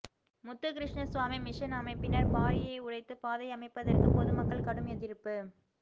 Muthukrishna Swami mission அமைப்பினர் பாறையை உடைத்துப் பாதை அமைப்பதற்குப் பொதுமக்கள் கடும் எதிர்ப்பு